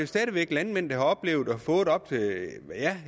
stadig væk landmænd der har oplevet